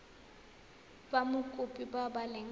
ba mokopi ba ba leng